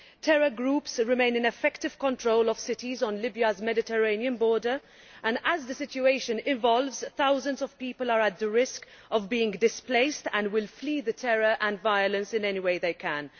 Terror groups remain in effective control of cities on Libya's Mediterranean border and, as the situation evolves, thousands of people are at risk of being displaced and will flee the terror and violence in any way they can.